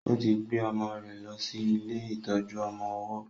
ó ti gbe ọmọ rẹ̀ ló sì ilé ìtọjú ọmọ ọwó